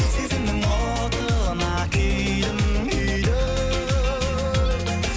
сезімнің отына күйдім күйдім